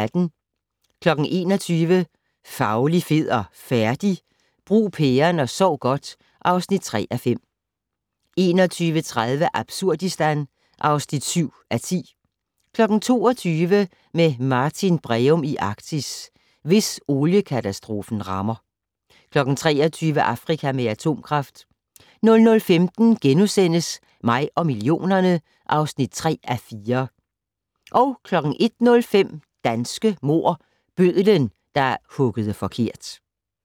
21:00: Fauli, fed og færdig? - Brug pæren og sov godt (3:5) 21:30: Absurdistan (7:10) 22:00: Med Martin Breum i Arktis: Hvis oliekatastrofen rammer 23:00: Afrika med atomkraft 00:15: Mig og millionerne (3:4)* 01:05: Danske mord - Bødlen, der huggede forkert